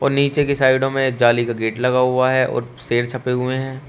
नीचे की साइडो में जाली का गेट लगा हुआ है और शेर छपे हुए हैं।